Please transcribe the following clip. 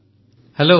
ପ୍ରଧାନମନ୍ତ୍ରୀ ହେଲୋ